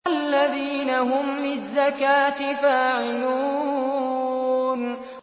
وَالَّذِينَ هُمْ لِلزَّكَاةِ فَاعِلُونَ